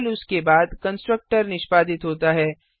केवल उसके बाद कंस्ट्रक्टर निष्पादित होता है